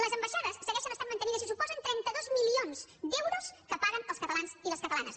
les ambaixades segueixen estant mantingudes i suposen trenta dos milions d’euros que paguen els catalans i les catalanes